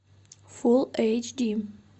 фул эйч ди